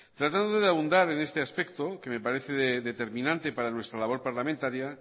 tratando de abundar en este aspecto que me parece determinante para nuestra labor parlamentaria